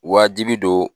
Wajibi don